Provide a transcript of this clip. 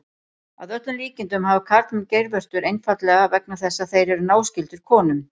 Að öllum líkindum hafa karlmenn geirvörtur einfaldlega vegna þess að þeir eru náskyldir konum.